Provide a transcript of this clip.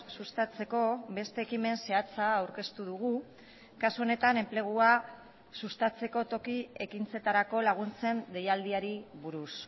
sustatzeko beste ekimen zehatza aurkeztu dugu kasu honetan enplegua sustatzeko toki ekintzetarako laguntzen deialdiari buruz